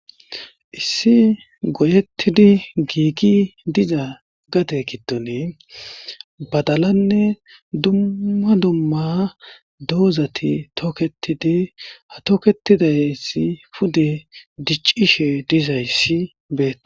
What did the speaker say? Issi goyettidi giigi diza gate kidone badalanne dumma dumma doozati tooketidi ha toketidayissi pude diccishe dizayssi bee.